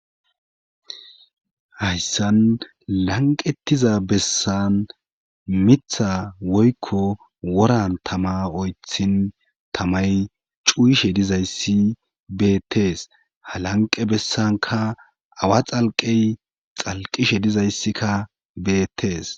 Hayssan lanqettiza bessan mitha woykko woran tama oythin tamay cuyishe dizayssi beetees ha lanqe bessanka awa xalqey xalqishe dizayssikka beetees.